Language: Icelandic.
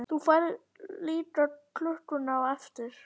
Þú færð líka klukkuna á eftir.